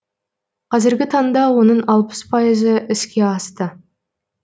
қазіргі таңда оның алпыс пайызы іске асты